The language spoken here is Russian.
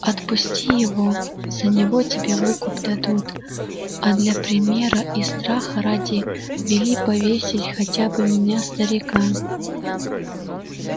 отпусти его за него тебе выкуп дадут а для примера и страха ради вели повесить хотя бы меня старика